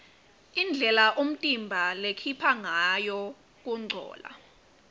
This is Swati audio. indlela umtimba lokhupha ngayo kuncola